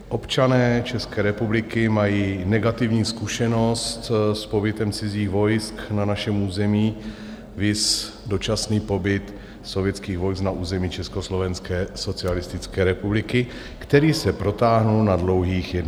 Občané České republiky mají negativní zkušenost s pobytem cizích vojsk na našem území, viz dočasný pobyt sovětských vojsk na území Československé socialistické republiky, který se protáhl na dlouhých 21 let.